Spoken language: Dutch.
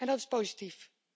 Dat is positief.